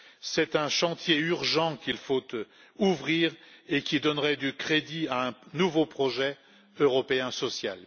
C'est un chantier urgent qu'il faut ouvrir et qui donnerait du crédit à un nouveau projet européen social.